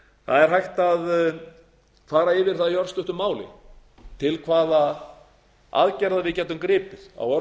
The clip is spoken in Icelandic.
það er hægt að fara yfir það í örstuttu máli til hvaða aðgerða við getum gripið á